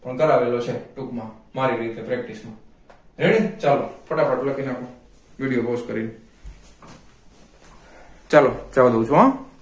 પણ કરાવેલો છે ટૂંક માં મારી રીતે practice માં ready ચાલો ફટાફટ લખી નાખો video pause કરીને ચાલો જવા દવ છુ હો